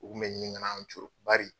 U kun be ɲini kan'an' coron bari